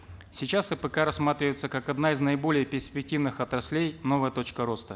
сейчас апк рассматривается как одна из наиболее перспективных отраслей новая точка роста